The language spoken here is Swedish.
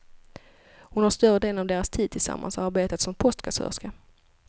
Hon har större delen av deras tid tillsammans arbetat som postkassörska.